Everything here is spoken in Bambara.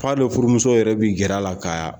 F'a n'o furumuso yɛrɛ bɛ gɛrɛ a la ka